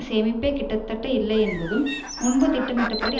சேமிப்பே கிட்டத்தட்ட இல்லை என்பதும் முன்பு திட்டமிட்டபடி